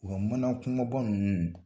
U ka mana kumaba ninnu